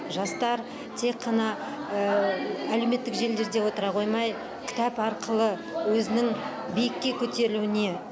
жастар тек қана әлеуметтік желілерде отыра қоймай кітап арқылы өзінің биікке көтерілуіне